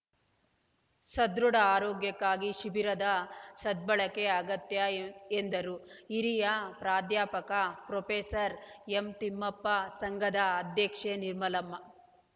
ಸದೃಢ ಆರೋಗ್ಯಕ್ಕಾಗಿ ಶಿಬಿರದ ಸದ್ಬಳಕೆ ಅಗತ್ಯ ಎಂದರು ಹಿರಿಯ ಪ್ರಾಧ್ಯಾಪಕ ಪ್ರೊಫೆಸರ್ ಎಂತಿಮ್ಮಪ್ಪ ಸಂಘದ ಅಧ್ಯಕ್ಷೆ ನಿರ್ಮಲಮ್ಮ